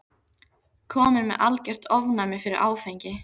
Kominn með algert ofnæmi fyrir áfengi.